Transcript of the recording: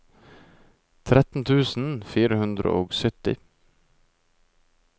tretten tusen fire hundre og sytti